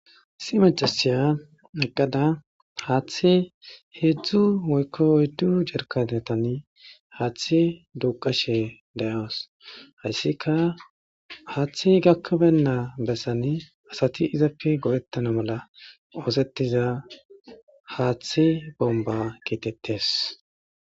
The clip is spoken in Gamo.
Isi macasiya eqqada haaththi heedzdzu woykko oyddu jerkanetan haaththe duqashe da'awos hayssika haaththi gakkabenna bessan asati izappe godhettana mala oosettiza haaththi bomba kiikettes